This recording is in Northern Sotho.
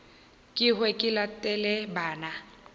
ke hwe ke latele bana